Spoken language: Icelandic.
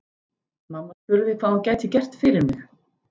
Mamma spurði hvað hún gæti gert fyrir mig.